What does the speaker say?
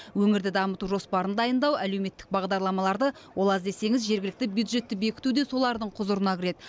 өңірді дамыту жоспарын дайындау әлеуметтік бағдарламаларды ол аз десеңіз жергілікті бюджетті бекіту де солардың құзырына кіреді